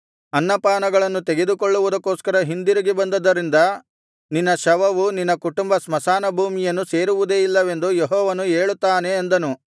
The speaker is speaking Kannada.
ಅನ್ನಪಾನಗಳನ್ನು ತೆಗೆದುಕೊಳ್ಳುವುದಕ್ಕೋಸ್ಕರ ಹಿಂದಿರುಗಿ ಬಂದದ್ದರಿಂದ ನಿನ್ನ ಶವವು ನಿನ್ನ ಕುಟುಂಬ ಸ್ಮಶಾನಭೂಮಿಯನ್ನು ಸೇರುವುದೇ ಇಲ್ಲವೆಂದು ಯೆಹೋವನು ಹೇಳುತ್ತಾನೆ ಅಂದನು